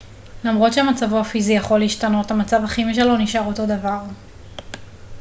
למרות שמצבו הפיזי יכול להשתנות המצב הכימי שלו נשאר אותו דבר